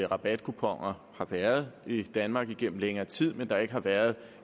rabatkuponer har været i danmark igennem længere tid men at der ikke har været